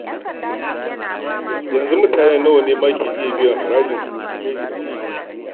Yanzu, mutane nawa ne ke iya biyan ma harajin in ka yi tunani.